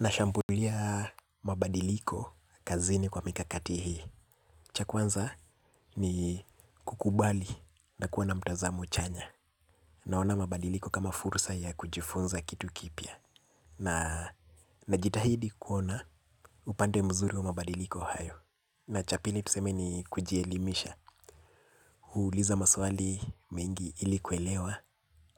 Nashambulia mabadiliko kazini kwa mikakati hii. Cha kwanza ni kukubali na kuwa na mtazamo chanya. Naona mabadiliko kama fursa ya kujifunza kitu kipia. Najitahidi kuona upande mzuri wa mabadiliko hayo. Na cha pili tuseme ni kujielimisha. Huuliza maswali mengi ili kuelewa